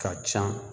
Ka ca